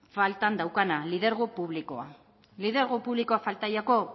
faltan daukana lidergo publikoa lidergo publikoa falta zaio